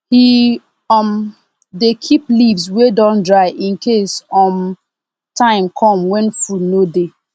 he um dey keep leaves wey don dry incase um time come when food no dey